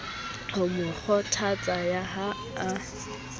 ho mo kgothatsa ha a